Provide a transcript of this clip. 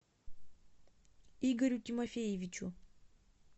игорю тимофеевичу